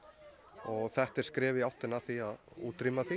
og þetta er skref í áttina að því að útrýma því